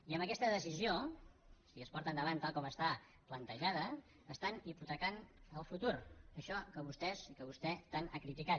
i amb aquesta decisió si es porta endavant tal com està plantejada hipotequen el futur això que vostès i que vostè tant han criticat